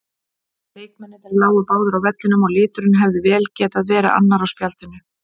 Leikmennirnir lágu báðir á vellinum og liturinn hefði vel getað verið annar á spjaldinu.